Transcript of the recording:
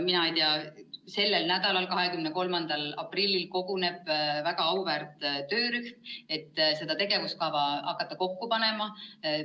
Sellel nädalal 23. aprillil koguneb väga auväärt töörühm, kes hakkab seda tegevuskava kokku panema.